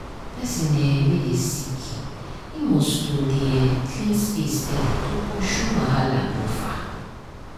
person um wey dey sick um must dey um clean place steady to pursue wahala go far.